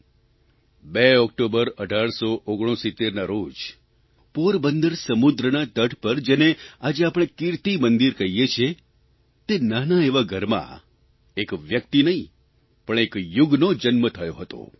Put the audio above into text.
2 October 1869ના રોજ પોરબંદર સમુદ્રના તટ પર જેને આજે આપણે કીર્તીમંદિર કહીએ છીએ તે નાના એવા ઘરમાં એક વ્યક્તિ નહીં પણ એક યુગનો જન્મ થયો હતો